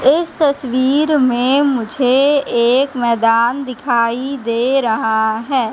इस तस्वीर में मुझे एक मैदान दिखाई दे रहा है।